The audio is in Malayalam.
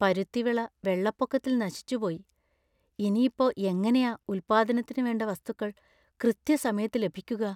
പരുത്തി വിള വെള്ളപ്പൊക്കത്തിൽ നശിച്ചുപോയി; ഇനി ഇപ്പോ എങ്ങനെയാ ഉത്പാദനത്തിന് വേണ്ട വസ്തുക്കൾ കൃത്യസമയത്ത് ലഭിക്കുക?